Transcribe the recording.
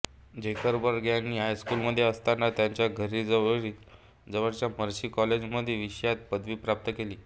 Zuckerberg यांनी हायस्कूलमध्ये असताना त्याच्या घरी जवळच्या मर्सी कॉलेजमध्ये विषयात पदवी प्राप्त केली